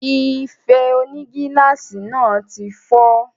Ife onígíláàsì náà tí fọ́